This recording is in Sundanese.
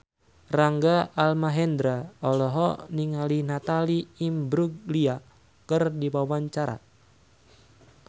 Rangga Almahendra olohok ningali Natalie Imbruglia keur diwawancara